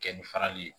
Kɛ ni farali ye